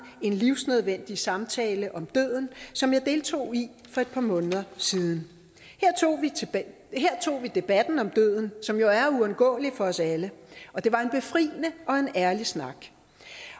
en livsnødvendig samtale om døden som jeg deltog i for et par måneder siden her tog vi debatten om døden som jo er uundgåelig for os alle og det var en befriende og en ærlig snak